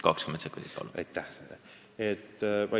20 sekundit, palun!